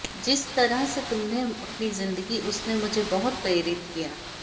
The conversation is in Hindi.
जिस तरह से तुमने अपनी जिंदगी उसने मुझे बहुत प्रेरित किया